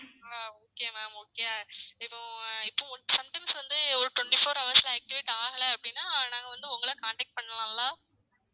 ஆஹ் okay ma'am okay இப்போ இப்போ sometimes வந்து ஒரு twenty four hours ல activate ஆகல அப்டின்னா நாங்க வந்து உங்கள contact பன்னலாம்லா